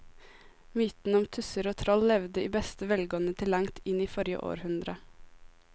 Mytene om tusser og troll levde i beste velgående til langt inn i forrige århundre.